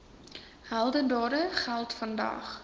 heldedade geld vandag